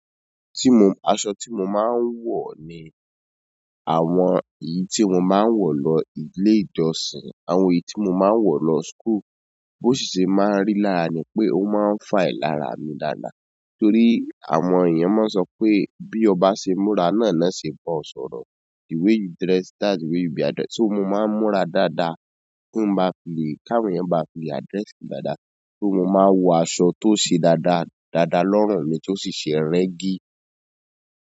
Asọ ti maa n wọ ni àwọn èyí ti mo maa n wọ lọ ile ìjọsìn, àwọn èyí ti mo maa n wọ lọ school. Bo ṣe máa ń rí lára ni pé ó máa ń fine lára mi dáadáa torí àwọn èèyàn máa sọ pé bí o ba ṣe múra náà na ṣe bọ sọ̀rọ̀. The way you dress that's the way you'll be addressed. So mo máa ń múra dáadáa kí n má ba fi le, káwọn èèyàn má ba fi le address mi dáadáa. So mo máa ń wọ aṣọ tó ṣe dáadáa, dáadáa lọ́rùn mi tó sì ṣe rẹgi.